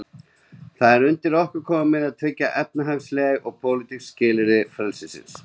Það er undir okkur komið að tryggja efnisleg og pólitísk skilyrði frelsisins.